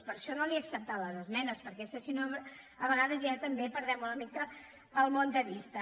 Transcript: per això no li he acceptat les esmenes per·què és que si no a vegades ja també perdem una mi·ca el món de vista